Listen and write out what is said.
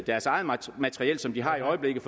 materiel som de har i øjeblikket